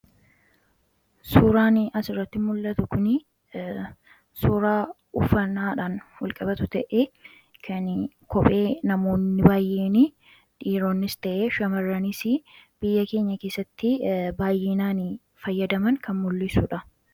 Suuraan asirratti mul'atu kun suuraa uffannaadhaan wal qabatu ta'ee, kan kophee namoonni baay'een dhiironnis ta'ee shammarranis biyya keenya keessatti baay'inaan fayyadaman kan mul'isudha.